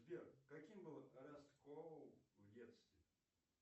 сбер каким был раскол в детстве